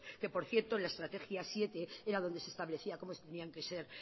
que por cierto la estrategia siete era donde se establecía cómo tenían que ser